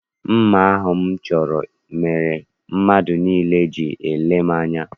Mma ahụ m chọrọ mere mmadụ niile ji na-ele m anya.